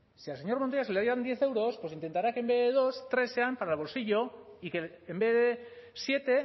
si al señor montoya se le dan diez euros pues intentará que en vez de dos tres sean para el bolsillo y que en vez de siete